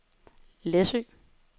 Læsø